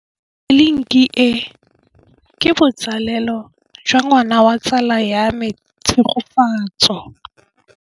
Tleliniki e, ke botsalêlô jwa ngwana wa tsala ya me Tshegofatso.